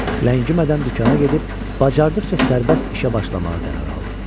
Ləngimədən dükana gedib bacardıqca sərbəst işə başlamağa qərar aldım.